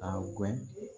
A guwɛɲɛ